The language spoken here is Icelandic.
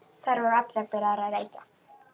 Þær voru allar byrjaðar að reykja.